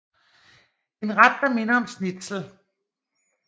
En ret der minder om schnitzel